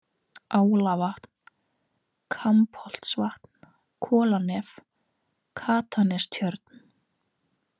Álavatn, Kampholtsvatn, Kolanef, Katanestjörn